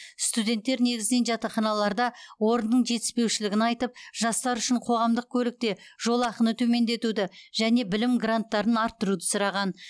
студенттер негізінен жатақханаларда орынның жетіспеушілігін айтып жастар үшін қоғамдық көлікте жолақыны төмендетуді және білім гранттарын арттыруды сұраған